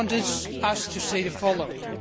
She wanted us to say the following.